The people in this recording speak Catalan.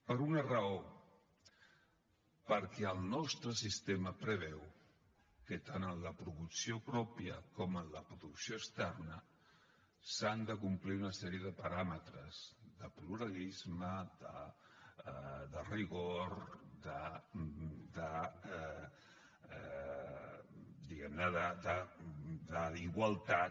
per una raó perquè el nostre sistema preveu que tant en la producció pròpia com en la producció externa s’han de complir una sèrie de paràmetres de pluralisme de rigor de diguem ne igualtat